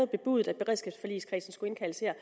bebudet at beredskabsforligskredsen skulle indkaldes her